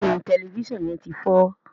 béèni Tẹlifísàn yén tí fọ.